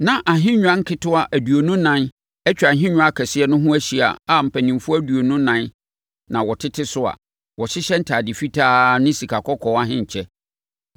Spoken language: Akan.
Na ahennwa nketewa aduonu nan atwa ahennwa kɛseɛ no ho ahyia a mpanimfoɔ aduonu ɛnan na wɔtete so a wɔhyehyɛ ntadeɛ fitaa ne sikakɔkɔɔ ahenkyɛ.